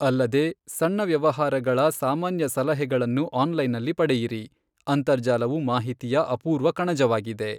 ಅಲ್ಲದೆ, ಸಣ್ಣ ವ್ಯವಹಾರಗಳ ಸಾಮಾನ್ಯ ಸಲಹೆಗಳನ್ನು ಆನ್ಲೈನ್ನಲ್ಲಿ ಪಡೆಯಿರಿ, ಅಂರ್ತಜಾಲವು ಮಾಹಿತಿಯ ಅಪೂರ್ವ ಕಣಜವಾಗಿದೆ.